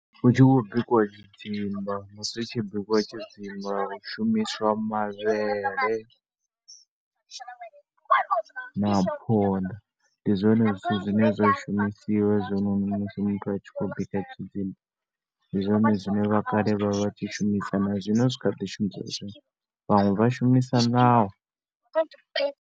Hu tshi khou bikiwa tshidzimba musi hu tshi bikiwa tshidzimba hu shumiswa mavhele na phonḓa. Ndi zwone zwithu zwine zwa shumisiwa hezwinoni muthu a tshi khou bika tshidzimba. Ndi zwone zwine vhakale vha vha tshi shumisa na zwino zwi kha ḓi shumiswa. Vhaṅwe vha shumisa ṋawa.